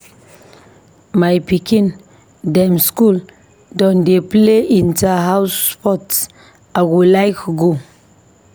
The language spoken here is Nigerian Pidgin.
My pikin dem skool don dey play Inter-house sports, I go like go.